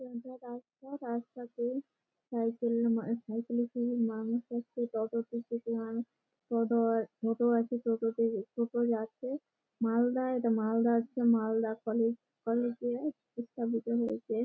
সোজা রাস্তা রাস্তাতে সাইকেলে মা সাইকেল এ করে মানুষ যাচ্ছে টোটো তে- থেকে মানুষ অটো আর টোটো আছে টোটো তে- টোটো যাচ্ছে মালদা এটা মালদা হচ্ছে মালদা কলেজ কলেজ -এ স্থাপিত হয়েছে ।